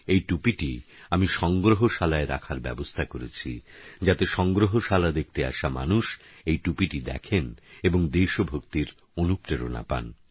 এই টুপিটি আমি সংগ্রহশালায় রাখার ব্যবস্থা করেছি যাতে সংগ্রহশালা দেখতে আসা মানুষ এই টুপিটি দেখেন এবং দেশভক্তির অনুপ্রেরণা পান